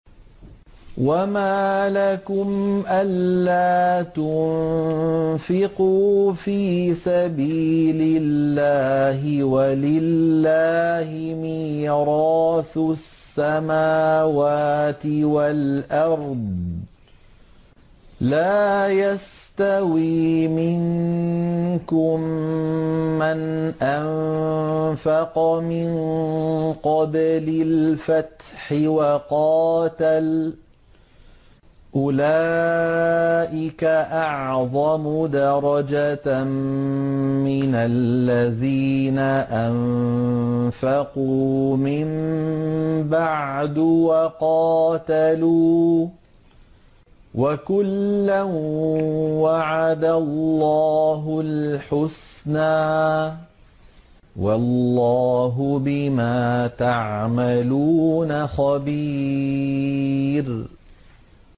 وَمَا لَكُمْ أَلَّا تُنفِقُوا فِي سَبِيلِ اللَّهِ وَلِلَّهِ مِيرَاثُ السَّمَاوَاتِ وَالْأَرْضِ ۚ لَا يَسْتَوِي مِنكُم مَّنْ أَنفَقَ مِن قَبْلِ الْفَتْحِ وَقَاتَلَ ۚ أُولَٰئِكَ أَعْظَمُ دَرَجَةً مِّنَ الَّذِينَ أَنفَقُوا مِن بَعْدُ وَقَاتَلُوا ۚ وَكُلًّا وَعَدَ اللَّهُ الْحُسْنَىٰ ۚ وَاللَّهُ بِمَا تَعْمَلُونَ خَبِيرٌ